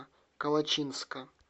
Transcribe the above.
калачинска